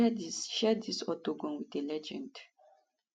to share dis share dis octagon wit a legend